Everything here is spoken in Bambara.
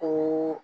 O